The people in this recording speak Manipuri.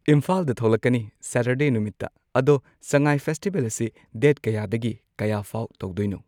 ꯏꯝꯐꯥꯜꯗ ꯊꯣꯛꯂꯛꯀꯅꯤ ꯁꯦꯇꯔꯗꯦ ꯅꯨꯃꯤꯠꯇ ꯑꯗꯣ ꯁꯉꯥꯏ ꯐꯦꯁꯇꯤꯕꯦꯜ ꯑꯁꯤ ꯗꯦꯠ ꯀꯌꯥꯗꯒꯤ ꯀꯌꯥꯐꯥꯎ ꯇꯧꯗꯣꯏꯅꯣ꯫